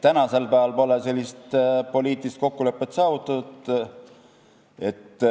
Tänasel päeval pole sellist poliitilist kokkulepet saavutatud.